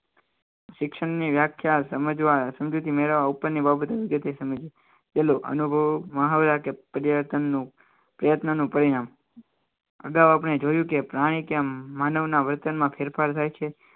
શિક્ષણની વ્યાખ્યા સમજવા સમજૂતી મેળવવા ઉપરની બાબતો વિગતે સમજીએ કે પરિવર્તનનું પ્રયત્નનું પરિણામ અગાઉ આપણે જોયું કે પ્રાણી કેમ માનવના વર્તનમાં ફેરફાર થાય છે